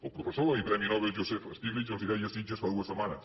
el professor i premi nobel joseph stiglitz els ho deia a sitges fa dues setmanes